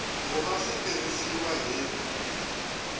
ku va swi tirhisiwa hi